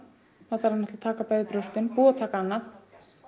það þarf að taka bæði brjóstin búið að taka annað